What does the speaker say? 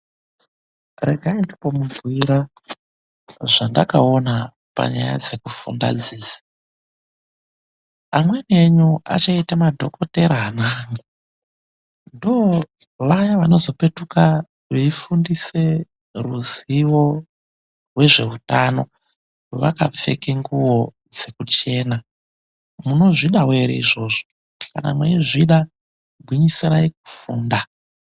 Regai ndimbomubhuira zvandakaona panyaya dzekufunda dzidzi. Amweni enyu achaite madhokothera ana aya. Ndoo vaya vanozopetuke veifundise ruzivo rwezveutano, vakapfeke nguvo dzekuchena. Munozvidawo ere izvozvo? Kana mweizvida gwinyisirayi kufunda.